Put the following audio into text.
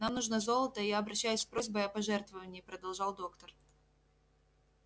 нам нужно золото и я обращаюсь с просьбой о пожертвовании продолжал доктор